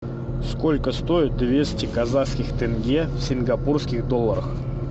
сколько стоит двести казахских тенге в сингапурских долларах